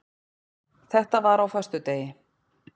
Þetta var á föstudegi.